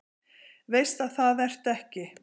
Veist að það ertu ekki.